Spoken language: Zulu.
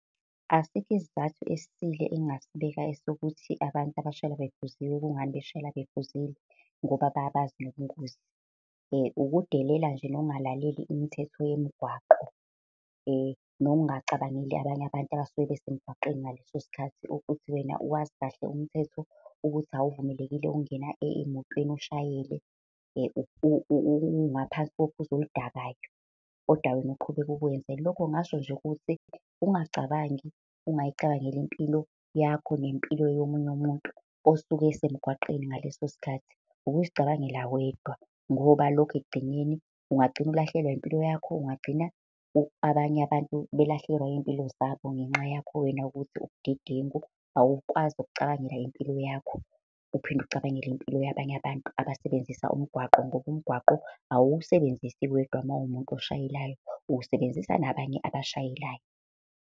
Asikho isizathu esisile engasibeka sokuthi abantu abashayela bephuzile kungani beshayela bephuzile, ngoba bayabazi nobungozi. Ukudelela nje nokungalaleli imithetho yemgwaqo. Nokungacabangeli abanye abantu abasuke besemgwaqeni ngaleso sikhathi ukuthi wena wazi kahle umthetho ukuthi awuvumelekile ukungena emotweni ushayele ungaphansi kophuzo oludakayo, kodwa wena uqhubeke ukwenze. Lokho ngingasho nje ukuthi ukungacabangi, ukungayicabangeli impilo yakho nempilo yomunye umuntu osuke esemgwaqeni ngaleso sikhathi ukuzicabangela wedwa. Ngoba lokho ekugcineni ungagcina ulahlekelwa impilo yakho, ungagcina abanye abantu belahlekelwa iy'mpilo zabo ngenxa yakho wena ukuthi ubudedengu awukwazi ukucabangela impilo yakho. Uphinde ucabangele impilo yabanye abantu abasebenzisa umgwaqo, ngoba umgwaqo awusebenzisi wedwa uma uwumuntu oshayelayo, usebenzisa nabanye abashayelayo.